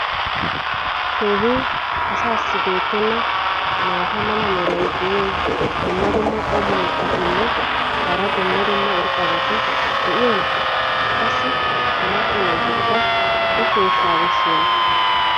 keehi asaassi beetenna maata mala meray diyo dumma dumma qommo mitattinne hara dumma dumma irxxabati de'iyoonaa? qassi ha macca naatikka o sheeshshaa bessiyoonaa?